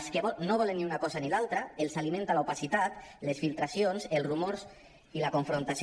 els que no volen ni una cosa ni l’altra els alimenta l’opacitat les filtracions els rumors i la confrontació